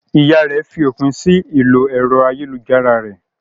Ìyá rẹ̀ fi òpin sí ìlò ẹ̀rọ ayélujára rẹ̀.